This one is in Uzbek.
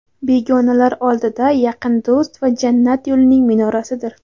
begonalar oldida yaqin do‘st va jannat yo‘lining minorasidir.